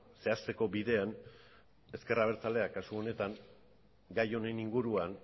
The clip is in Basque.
zehazteko bidean ezker abertzaleak kasu honetan gai honen inguruan